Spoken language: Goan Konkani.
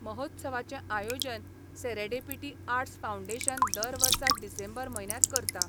महोत्सवाचे आयोजन सेरेडेपीटी आर्टस फावंडेशन दरवर्सा डिसेंबर म्हयन्यात करता